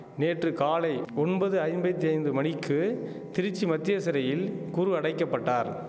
நேற்று காலை ஒன்பது ஐம்பெத்தி ஐந்து மணிக்கு திருச்சி மத்திய சிறையில் குரு அடைக்க பட்டார்